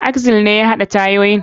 Axle ne ya haɗa tayoyin.